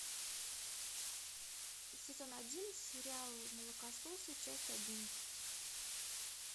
сезон один сериал молокососы часть одиннадцать